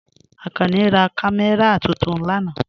Akànní rá kàmẹ́ra tuntun lànà.